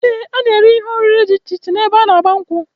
Ee, a na-eri ihe oriri dị iche iche ebe a n'agba nkwu